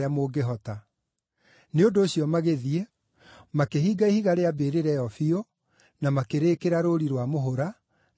Nĩ ũndũ ũcio magĩthiĩ, makĩhinga ihiga rĩa mbĩrĩra ĩyo biũ, na makĩrĩĩkĩra rũũri rwa mũhũra, na makĩiga arangĩri ho.